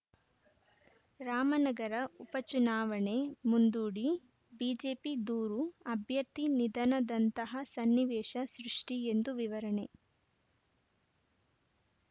ರಾಮನಗರ ಉಪಚುನಾವಣೆ ಮುಂದೂಡಿ ಬಿಜೆಪಿ ದೂರು ಅಭ್ಯರ್ಥಿ ನಿಧನದಂತಹ ಸನ್ನಿವೇಶ ಸೃಷ್ಟಿಎಂದು ವಿವರಣೆ